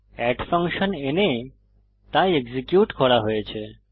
add function এনে তা execute করা হয়েছে